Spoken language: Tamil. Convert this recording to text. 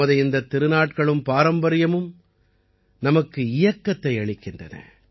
நமது இந்தத் திருநாட்களும் பாரம்பரியமும் நமக்கு இயக்கத்தை அளிக்கின்றன